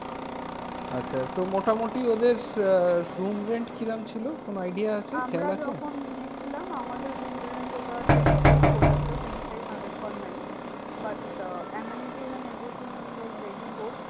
আচ্ছা তো মোটামুটি ওদের আহ room rent কিরকম ছিল? কোনো idea আছে? আমরা যখন খেয়াল আছে? নিয়েছিলাম আমাদের room rent ওটা twenty-five পড়েছিল। twenty-five hundred per night. but uh amenities and everything was very good.